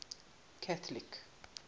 catholic